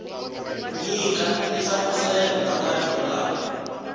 nyika tinhlamuselo ta marito lama